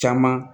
Caman